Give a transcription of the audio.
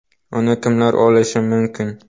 Uni kimlar olishi mumkin?.